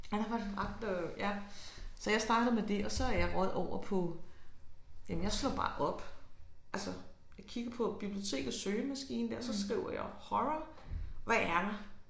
Ja der var den ret øh ja så jeg startede med det og så er jeg røget over på jamen jeg slog bare op altså jeg kiggede på bibliotekets søgemaskine der så skriver jeg horror hvad er der